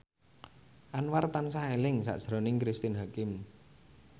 Anwar tansah eling sakjroning Cristine Hakim